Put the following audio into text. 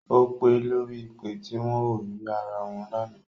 Ó pe lórí ìpè tí wọn ò rí ara wọn lánàá